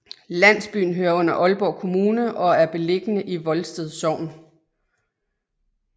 Landsbyen hører under Aalborg Kommune og er beliggende i Volsted Sogn